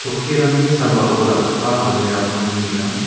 okkirangni sambao dal·gipa almira ko nikenga.